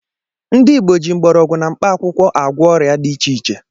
Ndị Igbo ji mgbọrọgwụ na mkpaakwụkwọ agwọ ọrịa dị iche iche